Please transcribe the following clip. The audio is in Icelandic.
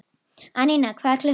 Anína, hvað er klukkan?